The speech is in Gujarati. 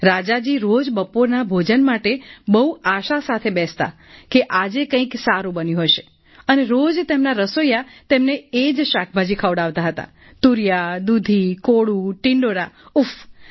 રાજા જી રોજ બપોરના ભોજન માટે બહુ આશા સાથે બેસતા હતા કે આજે કંઈક સારુ બન્યું હશે અને રોજ તેમના રસોઈયા તેમને એ જ શાકભાજી ખવડાવતા હતા તૂરિયા દૂધી કોળું ટિંડોરા ઉફફ્